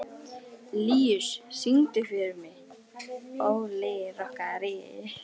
Líus, syngdu fyrir mig „Óli rokkari“.